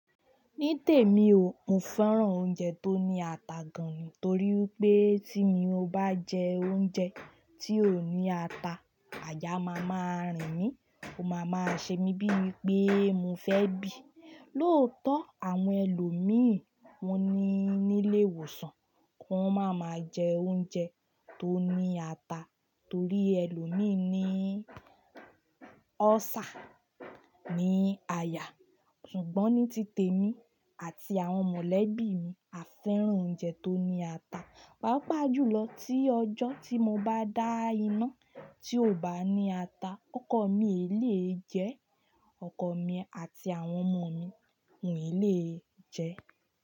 Ní tèmi ò, mo fẹ́ràn oúnjẹ tó ní ata gan-an nítorí pé tí mo bá jẹ oúnjẹ tí ó ní ata, àyà máa máa rìn mí, ó máa máa ṣe mí bíi pé mo fẹ́ bì. Lóòótọ́ àwọn ẹlòmíràn wọ́n ní nílé ìwòsàn, wọn máa máa jẹ oúnjẹ tó ní ata torí ẹlòmíràn ní ulcer, ní àyà. Ṣùgbọ́n ní tìtè mi àti àwọn mọ̀lẹ́bí mi a fẹ́ràn oúnjẹ tó ní ata. Wa pà jùlọ tí ọjọ́ tí mo bá dá iná tí ò bá ní ata, ọkọ̀ mi èlé jẹ, ọkọ̀ mi àti àwọn ọmọ mi ń lè jẹ.